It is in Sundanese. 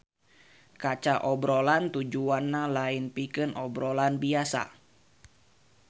Kaca obrolan tujuanna lain pikeun obrolan biasa